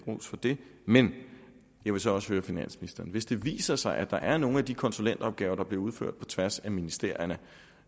ros for det men jeg vil så spørge finansministeren hvis det viser sig at der er nogle af de konsulentopgaver der bliver udført på tværs af ministerierne